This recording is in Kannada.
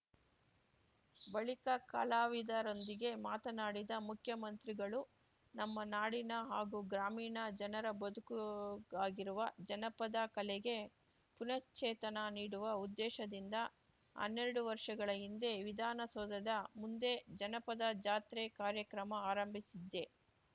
ಬಳಿಕ ಕಲಾವಿದರೊಂದಿಗೆ ಮಾತನಾಡಿದ ಮುಖ್ಯಮಂತ್ರಿಗಳು ನಮ್ಮ ನಾಡಿನ ಹಾಗೂ ಗ್ರಾಮೀಣ ಜನರ ಬದುಕುಗಾಗಿರುವ ಜಾನಪದ ಕಲೆಗೆ ಪುನಶ್ಚೇತನ ನೀಡುವ ಉದ್ದೇಶದಿಂದ ಹನ್ನೆರಡು ವರ್ಷಗಳ ಹಿಂದೆ ವಿಧಾನಸೌಧದ ಮುಂದೆ ಜಾನಪದ ಜಾತ್ರೆ ಕಾರ್ಯಕ್ರಮ ಆರಂಭಿಸಿದ್ದೆ